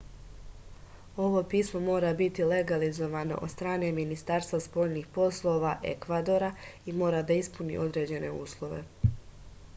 ovo pismo mora biti legalizovano od strane ministarstva spoljnih poslova ekvadora i mora da ispuni određene uslove